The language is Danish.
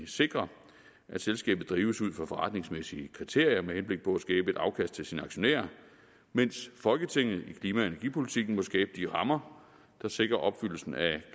sikre at selskabet drives ud fra forretningsmæssige kriterier med henblik på at skabe et afkast til sine aktionærer mens folketinget i klima og energipolitikken må skabe de rammer der sikrer opfyldelsen af